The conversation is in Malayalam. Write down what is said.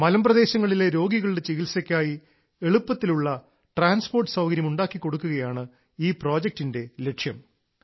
മലമ്പ്രദേശങ്ങളിലെ രോഗികളുടെ ചികിത്സയ്ക്കായി എളുപ്പത്തിലുള്ള ട്രാൻസ്പോർട്ട് സൌകര്യം ഉണ്ടാക്കി കൊടുക്കുകയാണ് ഈ പ്രോജക്ടിന്റെ ലക്ഷ്യം